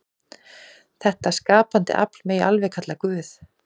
Þetta skapandi afl megi alveg kalla Guð.